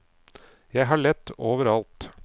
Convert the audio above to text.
Jeg har lett over alt.